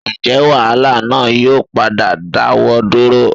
Ǹjẹ́ wàhálà náà yóò padà dáwọ́ dúró?